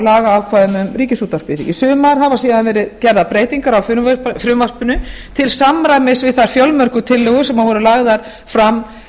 lagaákvæðum um ríkisútvarpið í sumar hafa síðan verið gerðar breytingar á frumvarpinu til samræmis við þær fjölmörgu tillögur sem voru lagðar fram